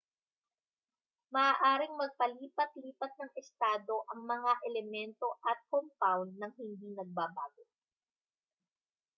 maaaring magpalipat-lipat ng estado ang mga elemento at compound nang hindi nagbabago